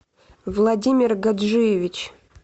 владимир гаджиевич